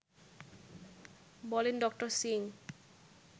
বলেন ড: সিং